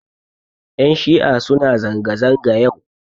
Ƴan shi'a suna zanga-zanga yau.